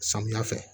Samiya fɛ